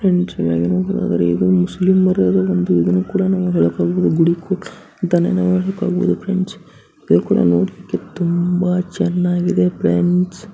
friends ಇದು ಮುಸ್ಲಿಮರ ಗುಡಿ ಕೂಡ ಅಂತನ್ನೇ ನಾವು ಹೇಳಬಹುದು